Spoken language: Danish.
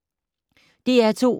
DR2